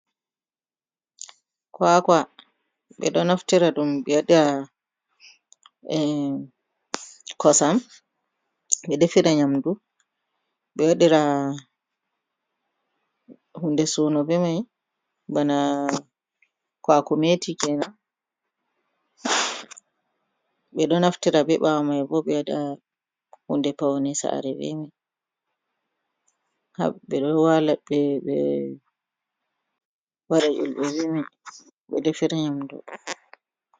Kwakwa beɗo naftira ɗum be waɗata em kosam be ɗefira nyamdu. Be waɗira hunɗe suno be mai bana kowaakoumeti kenan. Be do naftira be bawomai bo be waɗa hunɗe pauni saare bemai. Hab be ɗo waɗa ullbe bemai be defira nyamɗu.